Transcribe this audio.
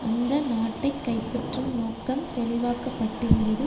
அந்த நாட்டை கைப்பற்றும் நோக்கம் தெளிவாக்கப்பட்டிருந்தது